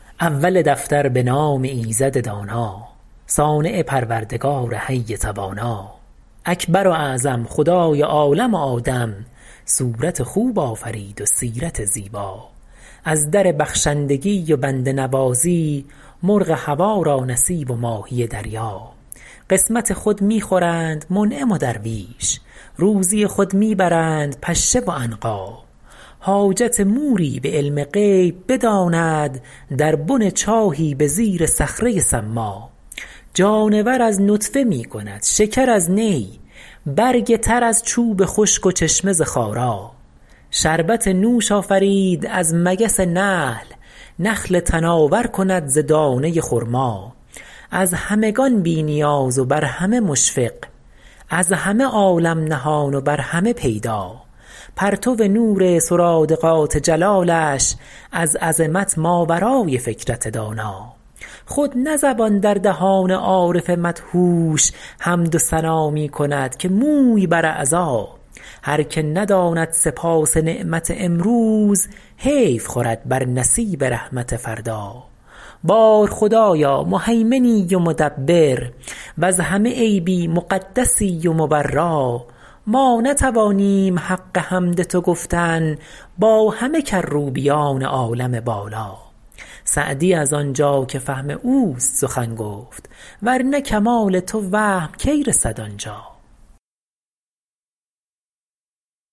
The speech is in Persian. اول دفتر به نام ایزد دانا صانع پروردگار حی توانا اکبر و اعظم خدای عالم و آدم صورت خوب آفرید و سیرت زیبا از در بخشندگی و بنده نوازی مرغ هوا را نصیب و ماهی دریا قسمت خود می خورند منعم و درویش روزی خود می برند پشه و عنقا حاجت موری به علم غیب بداند در بن چاهی به زیر صخره ی صما جانور از نطفه می کند شکر از نی برگ تر از چوب خشک و چشمه ز خارا شربت نوش آفرید از مگس نحل نخل تناور کند ز دانه ی خرما از همگان بی نیاز و بر همه مشفق از همه عالم نهان و بر همه پیدا پرتو نور سرادقات جلالش از عظمت ماورای فکرت دانا خود نه زبان در دهان عارف مدهوش حمد و ثنا می کند که موی بر اعضا هر که نداند سپاس نعمت امروز حیف خورد بر نصیب رحمت فردا بار خدایا مهیمنی و مدبر وز همه عیبی مقدسی و مبرا ما نتوانیم حق حمد تو گفتن با همه کروبیان عالم بالا سعدی از آنجا که فهم اوست سخن گفت ور نه کمال تو وهم کی رسد آنجا